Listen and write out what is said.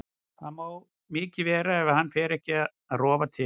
Það má mikið vera ef hann fer ekki að rofa til.